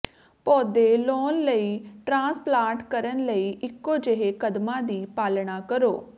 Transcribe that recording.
ਪੌਦੇ ਲਾਉਣ ਲਈ ਟ੍ਰਾਂਸਪਲਾਂਟ ਕਰਨ ਲਈ ਇੱਕੋ ਜਿਹੇ ਕਦਮਾਂ ਦੀ ਪਾਲਣਾ ਕਰੋ